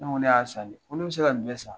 Ne ko ne y'a san ne. Ko ne bɛ se ka ni bɛɛ san?